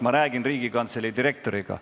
Ma räägin Riigikogu Kantselei direktoriga.